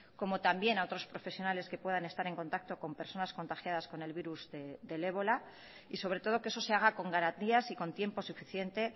como también a otros profesionales que puedan estar en contacto con personas contagiadas con el virus del ébola y sobre todo que eso se haga con garantías y con tiempo suficiente